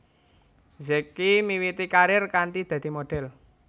Zacky miwiti karir kanthi dadi modhel